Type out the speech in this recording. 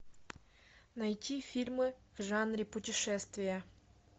найти фильмы в жанре путешествия